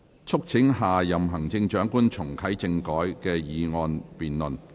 "促請下任行政長官重啟政改"的議案辯論。